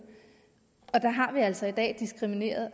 og der har vi altså i dag diskrimineret